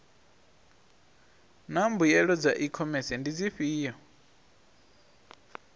naa mbuelo dza ikhomese ndi dzifhio